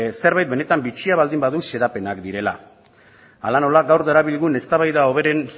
zerbait benetan bitxia baldin badu xedapenak direla hala nola gaur darabilgun eztabaida hoberen